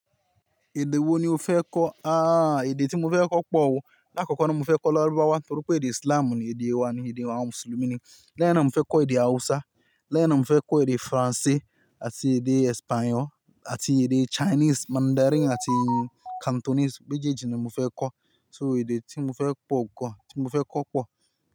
Èdè wo ni o fẹ́ kọ́? Aaa èdè tí mo fẹ́ kọ́ pọ̀ o. Láàkọ́kọ́ náà mo fẹ́ kọ́ Lárúbáwá torí pé èdè Ísìláàmù ni èdè wa ni èdè àwọn mùsùlùmí ni. Lẹ́ẹ̀hin náà mo fẹ́ kọ́ èdè Hàúsá, lẹ́ẹ̀hin náà mo fẹ́ kọ́ èdè Faransé àti èdè Espanya àti èdè Chinese Mandarin àti Cantonese. Mejeeji ni mo fẹ́ kọ́, so èdè tí mo fẹ́ pọ̀ gan, tí mo fẹ́ kọ́ pọ̀